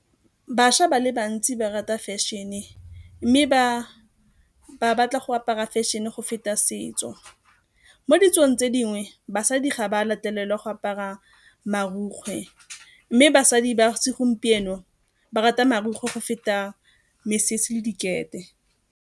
Bašwa ba le bantsi ba rata fashion-e mme ba batla go apara fashion-e go feta setso. Mo ditsong tse dingwe basadi ga ba latelela go apara marukgwe, mme basadi ba segompieno ba rata marukgwe go feta mesese le dikete.